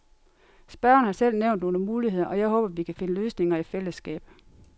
Spørgeren har selv nævnt nogle muligheder, og jeg håber, vi kan finde løsninger i fællesskab.